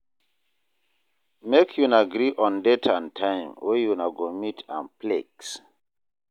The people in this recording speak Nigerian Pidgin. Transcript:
Make una agree on date and time wey una go meet and flex